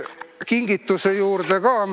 Kingituse juurde ka.